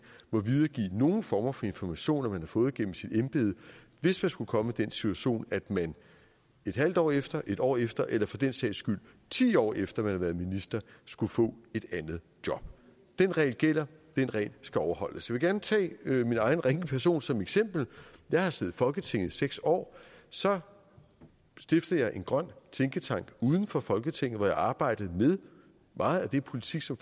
og videregive nogen former for information man har fået gennem sit embede hvis man skulle komme i den situation at man en halv år efter en år efter eller for den sags skyld ti år efter man har været minister skulle få et andet job den regel gælder og den regel skal overholdes jeg vil gerne tage min egen ringe person som eksempel jeg havde siddet i folketinget i seks år så stiftede jeg en grøn tænketank uden for folketinget hvor jeg arbejdede med meget af den politik som